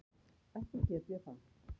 Ekki get ég það.